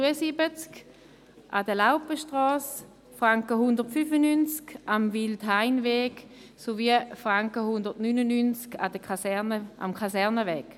173 Franken an der Laupenstrasse, 195 Franken am Wildhainweg sowie 199 Franken am Kasernenweg.